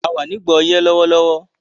A wà nígbà ọyẹ́ lówólówó